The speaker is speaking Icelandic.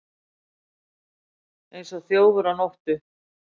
Eins og þjófur á nóttu